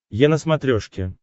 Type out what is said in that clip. е на смотрешке